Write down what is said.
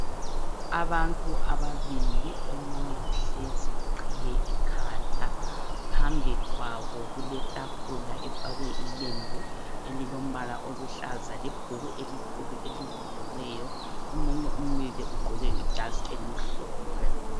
Abantu ababili omunye uhlezi uqhiye ikhanda. Phambi kwabo kuketafula efakwe ilembu elilombala oluhlaza lebhuku elikhulu elivuliweyo. Omunye umile ugqoke ijazi elimhlophe.